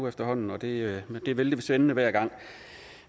efterhånden og det er vældig spændende hver gang